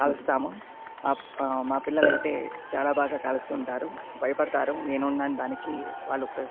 కాలుస్తాము ఆ మా పిల్లలైతే చాలా బాగా కాలుస్తుంటారు భయపడతారు నేనున్నాను దానికి వాళ్ళుకి --